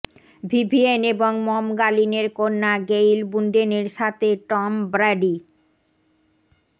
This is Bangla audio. ভিভিয়েন এবং মম গালিনের কন্যা গেইল বুন্ডেনের সাথে টম ব্র্যাডি